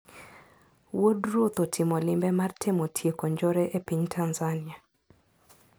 Wuod ruoth otimo limbe mar temo tieko njore e piny Tanzania.